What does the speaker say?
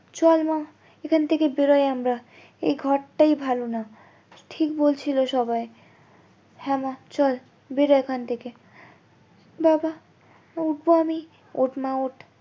চল মা এখন থেকে বেরই আমরা এই ঘরটাই ভালো না ঠিক বলছিলে সবাই হ্যাঁ মা চল বের এখন থেকে বাবা উঠবো আমি ওঠ মা ওঠ